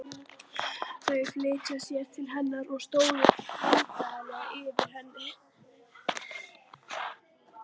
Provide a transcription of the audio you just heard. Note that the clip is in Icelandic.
Þau flýttu sér til hennar og stóðu vandræðaleg yfir henni.